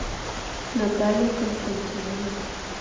наталья константиновна